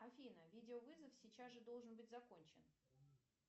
афина видеовызов сейчас же должен быть закончен